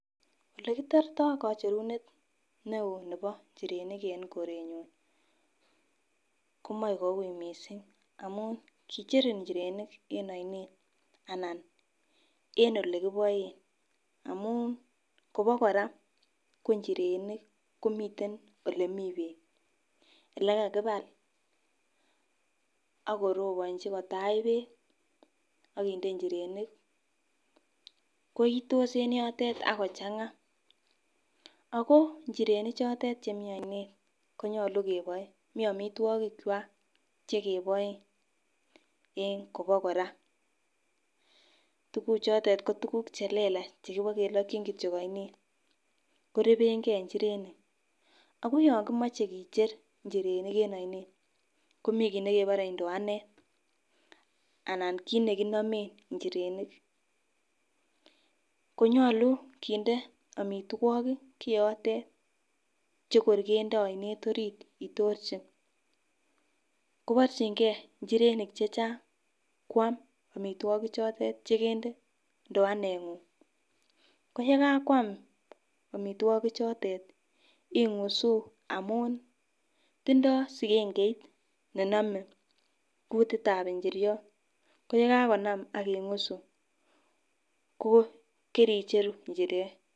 Ole kitorto kicherunet neo nebo nchirenik ne korenyun komoi kou missing nkicher inchirenik en oinet ana en olekiboen amun Kobo Koraa ko nchirenik komiten olemi beek ele kakibak ak korobonchi kotach beek akinde nchirenik koitos en yotet ako changa. Ako nchirenik chotet chemii oinet konyolu keboen mii omitwokik kwak chekeboen en Kobo Koraa, tukuk chotet ko tukuk chelelach chebokelokin kityok oinet korebengee nchirenik. Ako yon komoche kicher nchirenik en oinet komii kit nekebore induanet anan kit nekinomen inchirenik konyolu kinde omitwokik kiyotet chekor kende oinet orit itorchi kiborchigee nchirenik chechang kwam omitwoki chotet chekende nduanet ngung, ko yekakwam omitwokik chotet Ingush amun tindo sikengeit nenome kutitab inchiriot. Ko yekekonam ak ingusu ko kericheu nchirenik.